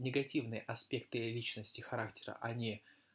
негативные аспекты личности характера а не